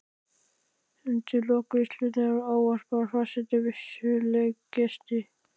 Undir lok veislunnar ávarpar forseti veislugesti.